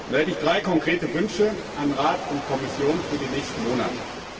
Da hätte ich drei konkrete Wünsche an Rat und Kommission für die nächsten Monate.